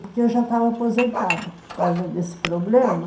Porque eu já estava aposentada por causa desse problema.